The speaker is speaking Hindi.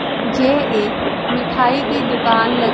जे एक मिठाई की दुकान लग--